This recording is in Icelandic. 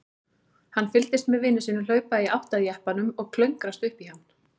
Hann fylgdist með vini sínum hlaupa í átt að jeppanum og klöngrast upp í hann.